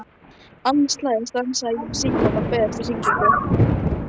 Annað slagið stansaði ég við símann og beið eftir hringingu.